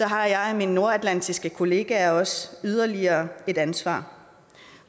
har jeg og mine nordatlantiske kollegaer også yderligere et ansvar